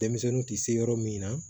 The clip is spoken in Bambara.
Denmisɛnninw tɛ se yɔrɔ min na